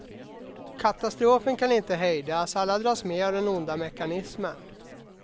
Katastrofen kan inte hejdas, alla dras med av den onda mekanismen.